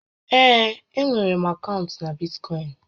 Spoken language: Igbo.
Ee, e nwèrè m akaụntụ na Bitkọịn